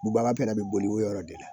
Bubaga fana bɛ boli o yɔrɔ de la